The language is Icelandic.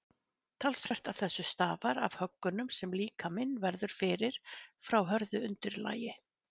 talsvert af þessu stafar af höggunum sem líkaminn verður fyrir frá hörðu undirlagi